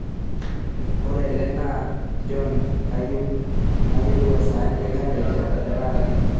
ore ele naa john kayieu nayolou e saani enkanyit te taata